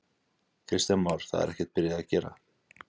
Kristján Már: Það er ekkert byrjað að gera?